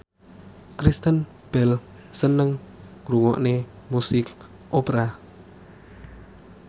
Kristen Bell seneng ngrungokne musik opera